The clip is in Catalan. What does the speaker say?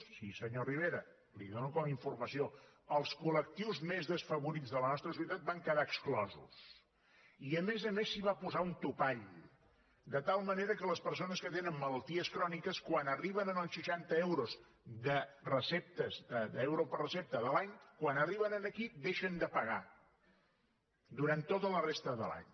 sí senyor rivera li ho dono com a informació els col·lectius més desfavorits de la nostra societat en van quedar exclosos i a més a més s’hi va posar un topall de tal manera que les persones que tenen malalties cròniques quan arriben als seixanta euros de receptes d’euro per recepta de l’any quan arriben aquí deixen de pagar durant tota la resta de l’any